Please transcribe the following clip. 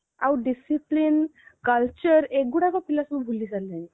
ଆଉ discipline culture ଏଗୁଡକୁ ପିଲାମାନେ ସବୁ ଭୁଲିଗଲେଣି